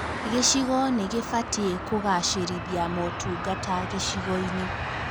Gĩcigo nĩ gībatiĩ kũgacĩrithia motungata gĩcigo-inĩ